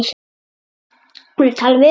Hefurðu talað við hann?